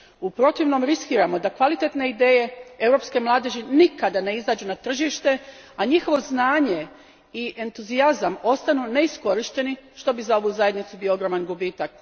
U protivnom, riskiramo da kvalitetne ideje europske mladeži nikad ne izađu na tržište, a njihovo znanje i entuzijazam ostanu neiskorišteni, što bi za ovu Zajednicu bio ogroman gubitak.